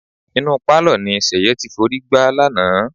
Inú pálọ̀ ni Ṣẹ̀yẹ ti forí gbá lánàá.